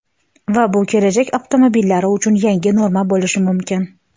Va bu kelajak avtomobillari uchun yangi norma bo‘lishi mumkin.